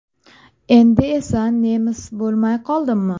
Endi esa nemis bo‘lmay qoldimmi?